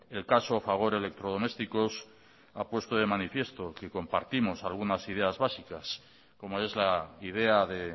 el caso fagor electrodomésticos ha puesto de manifiesto que compartimos algunas ideas básicas como es la idea de